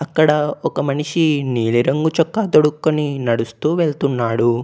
అక్కడ ఒక మనిషి నీలి రంగు చొక్కా తొడుక్కొని నడుస్తూ వెళ్తున్నాడు.